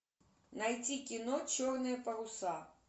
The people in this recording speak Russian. найти кино черные паруса